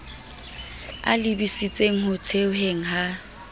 a lebisitseng ho thehweng ha